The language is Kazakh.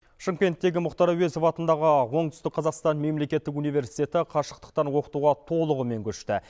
шымкенттегі мұхтар әуезов атындағы оңтүстік қазақстан мемлекеттік университеті қашықтықтан оқытуға толығымен көшті